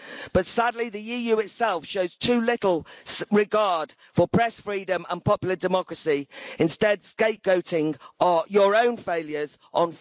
But sadly, the EU itself shows too little regard for press freedom and popular democracy, instead scapegoating your own failures on foreigners.